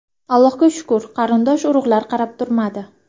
Allohga shukr, qarindosh-urug‘lar qarab turmadi.